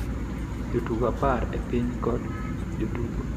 Jotugo apar e piny kod jotugo,"